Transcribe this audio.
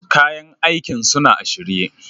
Kayan aikin suna a shirye.